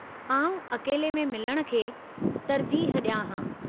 आऊं अकेले में मिलणु खे तरजीहु डि॒यां हां .